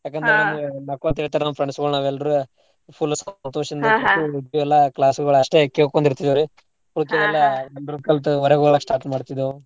ಯಾಕಂದ್ರ ನಕ್ಕೊಂತ ಇರ್ತಾರಲ್ವ ನಮ್ friends ಗಳು ನಾವೆಲ್ರು full ಸಂತೋಷದಿಂದ ಎಲ್ಲಾ class ಗಳು ಅಸ್ಟೇ ಕೇಳ್ಕೊಂಡ್ ಇರ್ತಿದ್ವಿರೀ group ಹೊರಗ್ ಒಡಾಕ್ start ಮಾಡ್ತಿದ್ದೆವು.